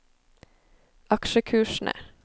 aksjekursene